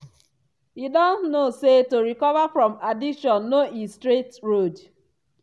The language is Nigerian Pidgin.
e don know say to recover from addiction no he straight road.